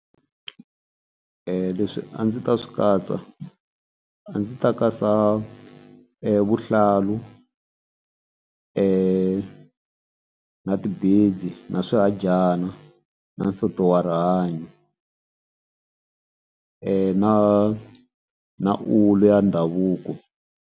Leswi a ndzi ta swi katsa a ndzi ta katsa vuhlalu na ti-beads na swihadyana na nsoto wa rihanyo na na wulu ya ndhavuko.